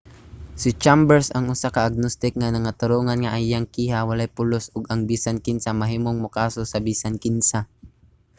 si chambers usa ka agnostic nangatarungan nga ang iyang kiha walay pulos ug ang bisan kinsa mahimong mokaso sa bisan kinsa.